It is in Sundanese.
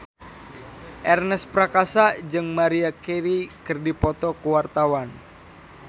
Ernest Prakasa jeung Maria Carey keur dipoto ku wartawan